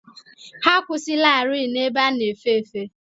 Ha akwụsịlarị n'ebe a na-efe efe.